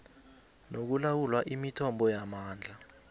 nokulawula imithombo yamandla